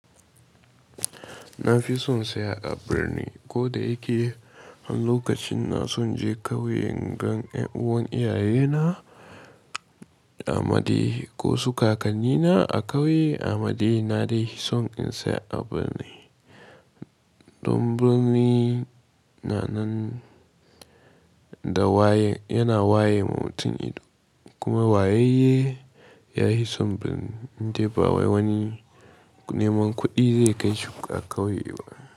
Na fi son tsaya a birni ko da yake har lokacin na son je ƙauyen ingan ƴan uwan iyayena ammade ko su kakannina a ƙauye ammade, na dai fi son in tsaya a birni. Don birni na nan da waye yana waye ma mutuim ido kuma wayayye ya fi son birni indai ba wani neman kuɗi zai kai shi ƙauyewa.